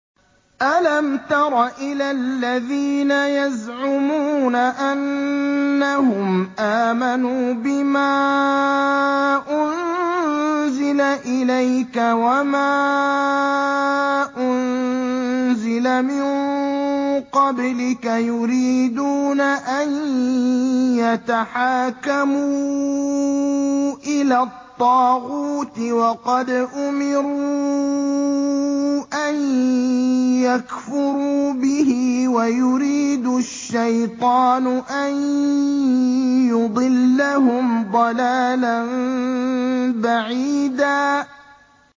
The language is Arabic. أَلَمْ تَرَ إِلَى الَّذِينَ يَزْعُمُونَ أَنَّهُمْ آمَنُوا بِمَا أُنزِلَ إِلَيْكَ وَمَا أُنزِلَ مِن قَبْلِكَ يُرِيدُونَ أَن يَتَحَاكَمُوا إِلَى الطَّاغُوتِ وَقَدْ أُمِرُوا أَن يَكْفُرُوا بِهِ وَيُرِيدُ الشَّيْطَانُ أَن يُضِلَّهُمْ ضَلَالًا بَعِيدًا